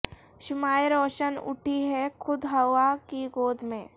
شمعیں روشن ہو اٹھی ہیں خود ہوا کی گود میں